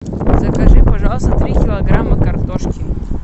закажи пожалуйста три килограмма картошки